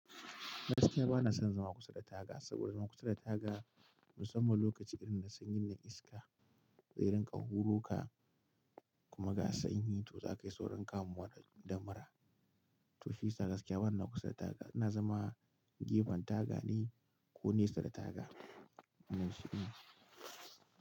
Gaskiya bana son zama kusa da taga, saboda zama kusa da taga musamman lokaci irin na sanyin na iska, zai rin ka huroka kuma gasanyi to za kai saurin kamuwa da damara. To shi sa gaskiya bana kusa da taga, ina zama gefen taga ne ko nesa da taga.